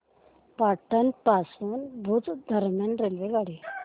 पाटण पासून भुज दरम्यान रेल्वेगाडी